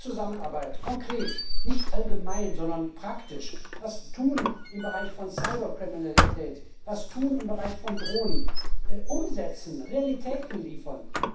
Mehr Zusammenarbeit konkret, nicht allgemein, sondern praktisch etwas tun im Bereich von Cyberkriminalität, etwas tun im Bereich von Drohnen, umsetzen, Realitäten liefern.